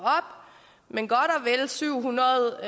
men godt og vel syv hundrede